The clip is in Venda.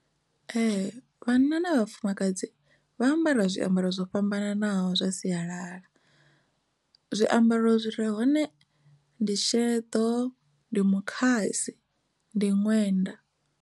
Ee, vhanna na vhafumakadzi vha ambara zwiambaro zwo fhambananaho zwa sialala zwiambaro zwire hone ndi sheḓo, ndi mukhasi, ndi ṅwenda.